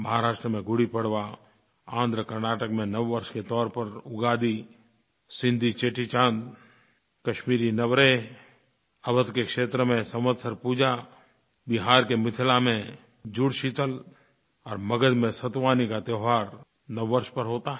महाराष्ट्र में गुड़ीपड़वा आंध्रकर्नाटक में नववर्ष के तौर पर उगादी सिन्धी चेटीचांद कश्मीरी नवरेह अवध के क्षेत्र में संवत्सर पूजा बिहार के मिथिला में जुड़शीतल और मगध में सतुवानी का त्योहार नववर्ष पर होता है